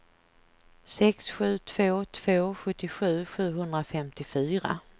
sex sju två två sjuttiosju sjuhundrafemtiofyra